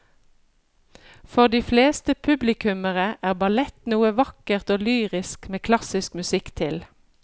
For de fleste publikummere er ballett noe vakkert og lyrisk med klassisk musikk til.